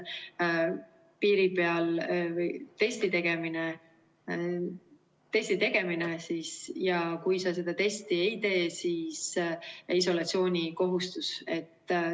Piiri peal tehakse test, aga kui sa seda testi ei tee, siis on isolatsioonikohustus.